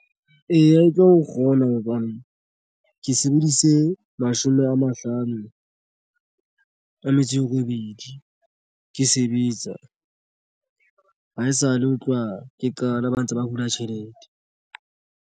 Eya, e tlo kgona hobane ke sebedise mashome a mahlano a metso e robedi. Ke sebetsa ha esale ho tloha ke qala ba ntse ba hula tjhelete.